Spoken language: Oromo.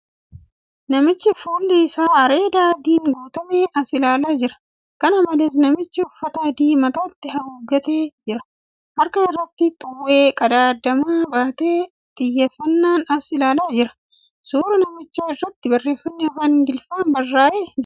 Namichi fuulli isaa areeda adiin guutame as ilaalaa jira. Kana malees namtichi uffata adii mataatti haguuggatee jira. Harka irratti xuwwee qadaaddamaa baatee xiyyeeffannoon as ilaalaa jira. Suura namichaa irraatti barreeffamni afaan Ingiliffaan barraa'ee jira.